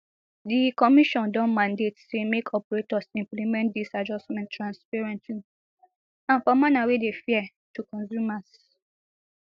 di commission don mandate say make operators implement dis adjustments transparently and for manner wey dey fair to consumers